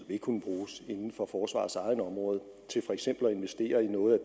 inden for forsvarets eget område til for eksempel at investere i noget